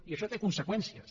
i això té conseqüències